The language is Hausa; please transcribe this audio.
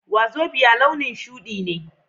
Wazobia launin shudi ne